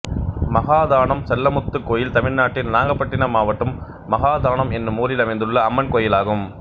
மகாதானம் செல்லமுத்து கோயில் தமிழ்நாட்டில் நாகப்பட்டினம் மாவட்டம் மகாதானம் என்னும் ஊரில் அமைந்துள்ள அம்மன் கோயிலாகும்